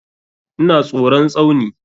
Ina tsoron Tsauni.